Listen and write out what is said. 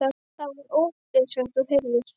Það var ópið sem þú heyrðir.